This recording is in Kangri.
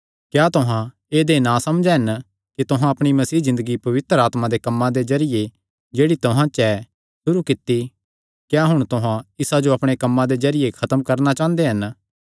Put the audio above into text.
क्या तुहां ऐदेय नासमझ हन कि तुहां अपणी मसीह ज़िन्दगी पवित्र आत्मा दे कम्मां दे जरिये जेह्ड़ी तुहां च ऐ सुरू कित्ती क्या हुण तुहां इसा जो अपणे कम्मां दे जरिये खत्म करणा चांह़दे हन